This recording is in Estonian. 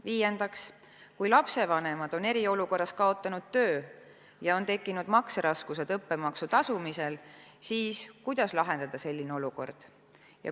Viiendaks, kui lapsevanemad on eriolukorra ajal töö kaotanud ja neil on õppemaksu tasumisel tekkinud makseraskused, siis kuidas see olukord lahendada?